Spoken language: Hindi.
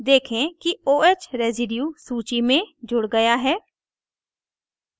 देखे कि oh residue residue सूची में जुड़ गया है